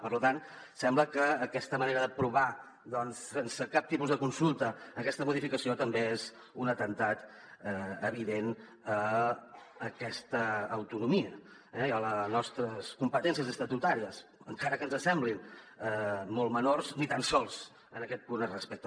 per tant sembla que aquesta manera d’aprovar doncs sense cap tipus de consulta aquesta modificació també és un atemptat evident contra aquesta autonomia eh i contra les nostres competències estatutàries encara que ens semblin molt menors ni tan sols en aquest punt es respecten